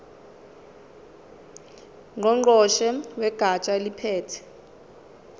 ngqongqoshe wegatsha eliphethe